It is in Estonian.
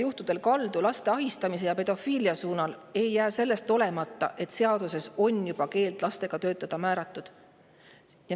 … on kaldu laste ahistamise ja pedofiilia suunas, ei jää selle tõttu olemata, et seaduses on määratletud keeld lastega töötada.